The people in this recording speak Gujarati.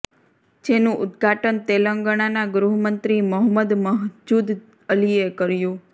જેનું ઉદ્ઘાટન તેલંગાણાનાં ગૃહ મંત્રી મોહમ્મદ મહજૂદ અલીએ કર્યું